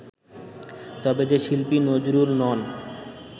তবে যে শিল্পী নজরুল নন